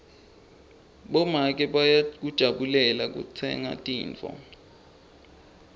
bomake bayakujabulela kutsenga tintfo